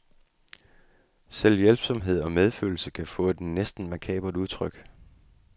Selv hjælpsomhed og medfølelse kan få et næsten makabert udtryk.